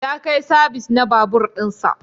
Ya kai sabis na babur din sa.